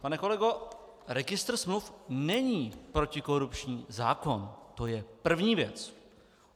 Pane kolego, registr smluv není protikorupční zákon, to je první věc.